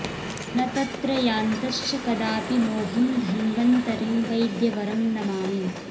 न तत्र यान्तश्च कदापि मोहं धन्वन्तरिं वैद्यवरं नमामि